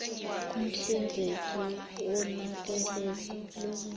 umhlinzeki wonakekelo lwezempilo